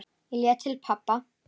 Ég leit til pabba.